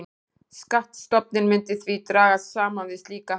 Skattstofninn myndi því dragast saman við slíka hækkun.